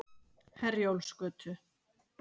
Herjólfsgötu